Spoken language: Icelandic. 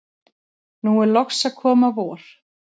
nú er loks að koma vor.